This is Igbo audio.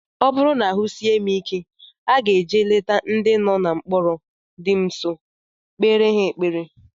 Ọ bụrụ na ahụ sie m ike, aga eje leta ndị nọ na mkpọrọ dị m nsọ, kpere ha ekpere